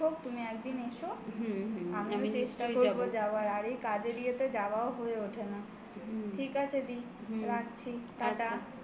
একটু weather টা পরিস্তিতি ঠিক হোক তুমি একদিন এসো আমি চেষ্টা করবো যাওয়ার. আর এই কাজের ইয়েতে যাওয়াও হয়ে ওঠে না. ঠিক আছে দি. হুম. রাখছি টাটা.